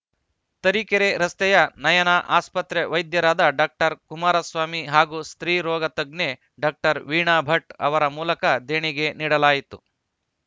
ತರೀಕೆರೆ ರಸ್ತೆಯ ನಯನ ಆಸ್ಪತ್ರೆ ವೈದ್ಯರಾದ ಡಾಕ್ಟರ್ ಕುಮಾರಸ್ವಾಮಿ ಹಾಗೂ ಸ್ತ್ರೀ ರೋಗ ತಜ್ಞೆ ಡಾಕ್ಟರ್ ವೀಣಾ ಭಟ್‌ ಅವರ ಮೂಲಕ ದೇಣಿಗೆ ನೀಡಲಾಯಿತು